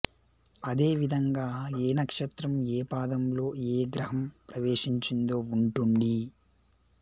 అదే విధంగా ఏ నక్షత్రం ఏ పాదంలో ఏ గ్రహం ప్రవేశించిందో వుంటుండి